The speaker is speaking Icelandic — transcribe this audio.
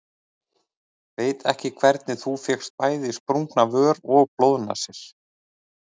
Veistu ekki hvernig þú fékkst bæði sprungna vör og blóðnasir.